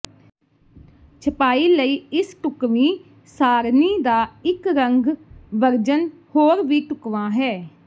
ਛਪਾਈ ਲਈ ਇਸ ਢੁਕਵੀਂ ਸਾਰਣੀ ਦਾ ਇੱਕ ਰੰਗ ਵਰਜਨ ਹੋਰ ਵੀ ਢੁਕਵਾਂ ਹੈ